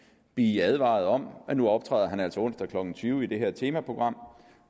blive advaret om at nu optræder han altså onsdag klokken tyve i det her temaprogram